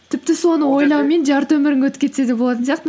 тіпті соны ойлаумен жарты өмірің өтіп кетсе де болатын сияқты